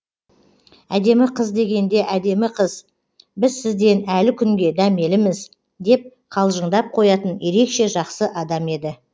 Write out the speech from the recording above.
әдемі қыз дегенде әдемі қыз біз сізден әлі күнге дәмеліміз деп қалжыңдап қоятын ерекше жақсы адам еді